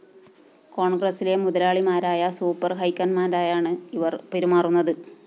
കോണ്‍ഗ്രസ്സിലെ മുതലാളിമാരായ സൂപ്പർ ഹൈക്കമാന്റായാണ് ഇവര്‍ പെരുമാറുന്നത്